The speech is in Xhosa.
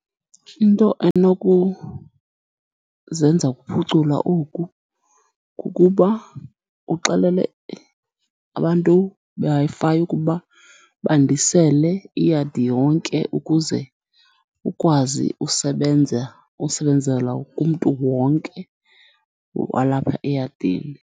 Into enokuzenza ukuphucula oku, kukuba uxelele abantu beWi-Fi ukuba bandisele iyadi yonke ukuze ukwazi usebenza, usebenzela kumntu wonke walapha eyadini.